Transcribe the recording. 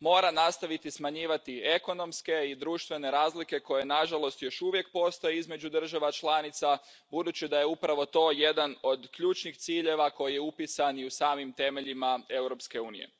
mora nastaviti smanjivati ekonomske i društvene razlike koje nažalost još uvijek postoje između država članica, budući da je upravo to jedan od ključnih ciljeva koji je upisan i u samim temeljima Europske unije.